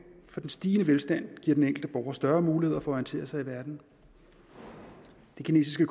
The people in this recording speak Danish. for den stigende velstand giver den enkelte borger større muligheder for at orientere sig i verden det kinesiske